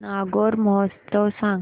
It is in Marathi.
नागौर महोत्सव सांग